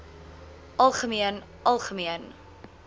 algemeen algemeen